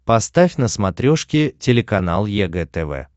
поставь на смотрешке телеканал егэ тв